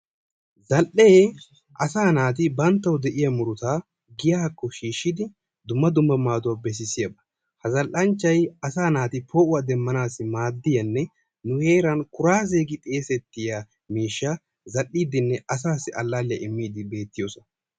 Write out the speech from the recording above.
zal'ee asaa naati bantawu de'iya murutaa giyaakko shiishidi dumma dumma maaduwa bessisiyaba. ha zal'anchay asaa naati poo'uwa demanaadanninne kuraaziya gi xeesetiya miishshaa zal'iidinne asaassi imiidi beetoosona.